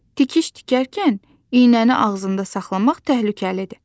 Tikiş tikərkən iynəni ağzında saxlamaq təhlükəlidir.